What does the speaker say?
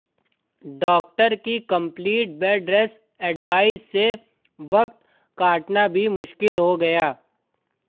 doctor की complete bed rest advice से वक्त कटना भी मुश्किल हो गया